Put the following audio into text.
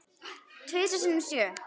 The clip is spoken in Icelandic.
Tvisvar sinnum sjö.